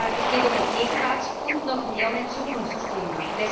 Es geht um ein Gegenwarts und noch mehr um ein Zukunftsthema.